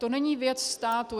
To není věc státu.